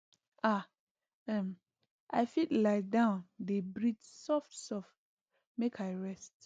ah um i fit lie down dey breathe softsoft make i rest